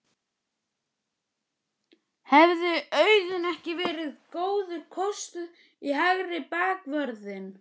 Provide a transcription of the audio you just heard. Hefði Auðun ekki verið góður kostur í hægri bakvörðinn?